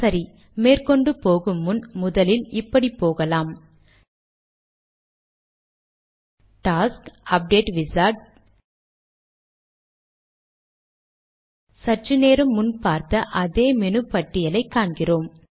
சரி மேற்கொண்டு போகு முன் முதலில் இப்படி போகலாம் டாஸ்க் அப்டேட் விசார்ட் - சற்று நேரம் முன் பார்த்த அதே மெனு பட்டியலை காண்கிறோம்